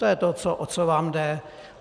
To je to, o co vám jde.